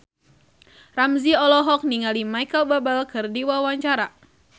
Ramzy olohok ningali Micheal Bubble keur diwawancara